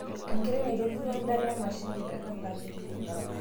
Enkerai naitobirua endala emashiini te tanganyika